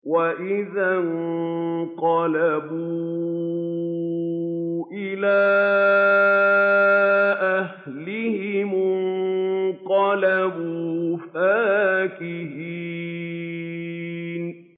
وَإِذَا انقَلَبُوا إِلَىٰ أَهْلِهِمُ انقَلَبُوا فَكِهِينَ